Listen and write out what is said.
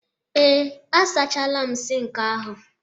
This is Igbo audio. ee, a sachala m Sink ahu